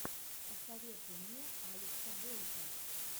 посоветуй мне алекса бойко